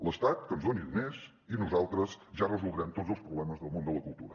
l’estat que ens doni diners i nosaltres ja resoldrem tots els problemes del món de la cultura